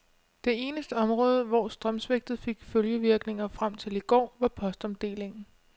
Det eneste område, hvor strømsvigtet fik følgevirkninger frem til i går, var postomdelingen.